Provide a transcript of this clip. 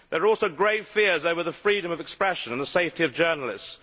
There are also grave fears over the freedom of expression and the safety of journalists.